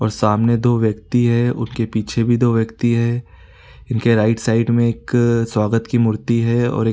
और सामने दो व्यक्ति है उनके पीछे भी दो व्यक्ति है इनके राइट साइड में एक स्वागत की मूर्ति है और एक --